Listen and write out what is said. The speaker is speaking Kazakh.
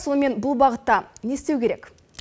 сонымен бұл бағытта не істеу керек